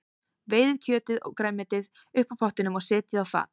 Veiðið kjötið og grænmetið upp úr pottinum og setjið á fat.